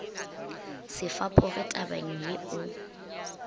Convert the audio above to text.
se fapoge tabeng ye o